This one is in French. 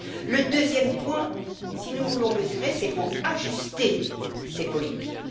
Le deuxième point si nous voulons mesurer, c'est pour ajuster ces politiques.